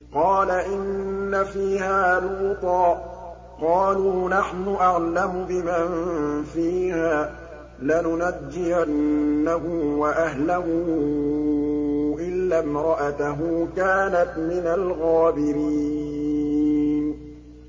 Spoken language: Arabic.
قَالَ إِنَّ فِيهَا لُوطًا ۚ قَالُوا نَحْنُ أَعْلَمُ بِمَن فِيهَا ۖ لَنُنَجِّيَنَّهُ وَأَهْلَهُ إِلَّا امْرَأَتَهُ كَانَتْ مِنَ الْغَابِرِينَ